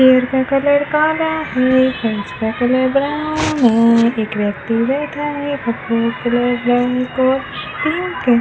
पेड़ का कलर काला है फैंस का कलर ब्राउन है एक व्यक्ति बैठा है तीन के --